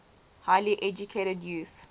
highly educated youth